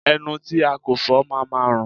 Ẹnu tí a kò fọ máa ma rùn.